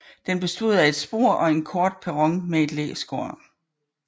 Den bestod af et spor og en kort perron med et læskur